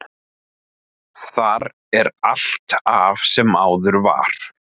Þar er allt af sem áður var.